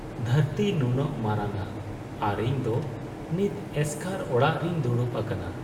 ᱫᱷᱟᱹᱨᱛᱤ ᱱᱩᱱᱟᱹᱜ ᱢᱟᱨᱟᱝᱼᱟ ᱟᱨ ᱤᱧᱫᱚ ᱱᱤᱛ ᱮᱥᱠᱟᱨ ᱚᱲᱟᱜ ᱨᱤᱧ ᱫᱩᱲᱩᱵ ᱟᱠᱟᱱᱟ ᱾